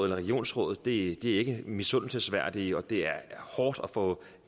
et regionsråd ikke er misundelsesværdige og det er hårdt at få